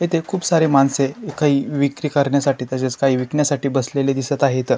येथे खुप सारे माणसे विक्री करण्यासाठी तसेच काही विकण्यासाठी बसलेले दिसत आहेत.